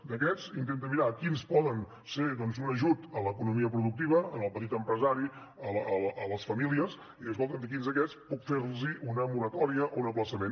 i d’aquests intenta mirar quins poden ser doncs un ajut a l’economia productiva al petit empresari a les famílies i escolta’m a quins d’aquests puc fer los una moratòria o un ajornament